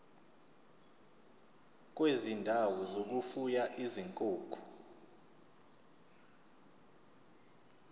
kwezindawo zokufuya izinkukhu